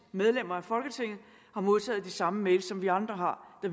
medlemmer af folketinget har modtaget de samme mails som vi andre har og